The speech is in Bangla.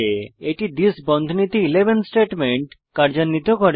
এটি থিস বন্ধনীতে 11 স্টেটমেন্ট কার্যান্বিত করে